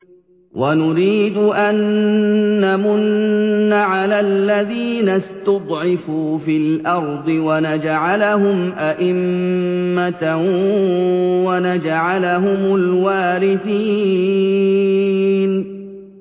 وَنُرِيدُ أَن نَّمُنَّ عَلَى الَّذِينَ اسْتُضْعِفُوا فِي الْأَرْضِ وَنَجْعَلَهُمْ أَئِمَّةً وَنَجْعَلَهُمُ الْوَارِثِينَ